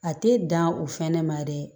A tɛ dan o fana ma dɛ